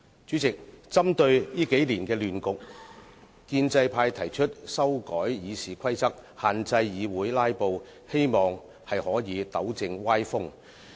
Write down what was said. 主席，針對這數年的亂局，建制派提出修改《議事規則》，限制議會"拉布"，希望可以糾正歪風。